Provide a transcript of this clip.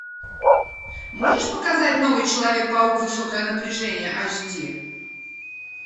можешь показать новый человек паук высокое напряжение айч ди